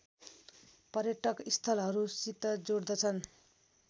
पर्यटक स्‍थलहरूसित जोड्दछन्